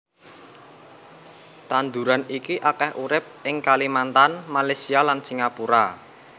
Tanduran iki akèh urip ing Kalimantan Malaysia lan Singapura